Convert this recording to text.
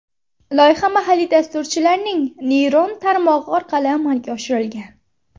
Loyiha mahalliy dasturchilarning neyron tarmog‘i orqali amalga oshirilgan.